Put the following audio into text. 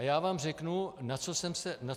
A já vám řeknu, na co jsem se ptal.